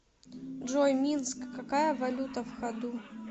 джой минск какая валюта в ходу